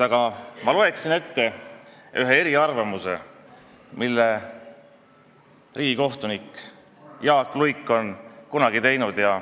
Aga ma loen ette ühe eriarvamuse, mille riigikohtunik Jaak Luik on kunagi esitanud.